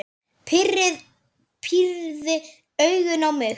Pírði augun á mig.